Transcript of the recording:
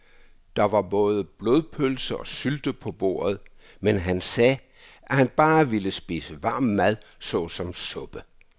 Der var både blodpølse og sylte på bordet, men han sagde, at han bare ville spise varm mad såsom suppe.